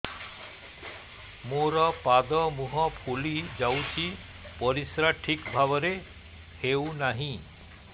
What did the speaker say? ମୋର ପାଦ ମୁହଁ ଫୁଲି ଯାଉଛି ପରିସ୍ରା ଠିକ୍ ଭାବରେ ହେଉନାହିଁ